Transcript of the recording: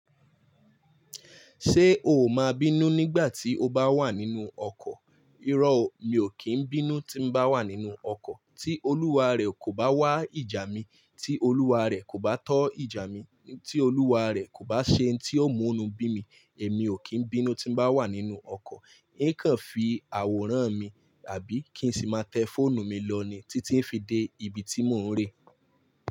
Ṣé o máa bínú nígbà tí o bá wà nínú ọkọ̀? Irọ́ o, mi ò kí ń bínú tí n bá wà nínú ọkọ̀ tí olúwa rẹ̀ kò bá wá ìjà mi, tí olúwa rẹ̀ kò bá tọ́ ìjà mi, tí olúwa rẹ̀ kò bá ṣe hun tí ó mú nú bímì, èmi ò kí ń bínú tí n bá wà nínú ọkọ̀. Í ń kàn fi àwòrán mi àbí kí n sì máa tẹ fóònù mi lọ ní títí n fi dé ibi tí mò ń rẹ.